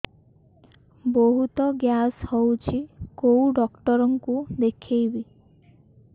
ବହୁତ ଗ୍ୟାସ ହଉଛି କୋଉ ଡକ୍ଟର କୁ ଦେଖେଇବି